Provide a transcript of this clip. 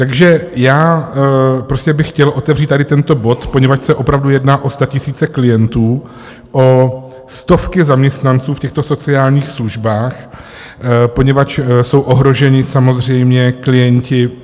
Takže já prostě bych chtěl otevřít tady tento bod, poněvadž se opravdu jedná o statisíce klientů, o stovky zaměstnanců v těchto sociálních službách, poněvadž jsou ohroženi samozřejmě klienti.